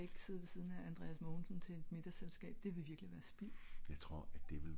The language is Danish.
jeg skal ik sidde ved siden af andreas mogensen til et middags selvskab det ville virkelig være spild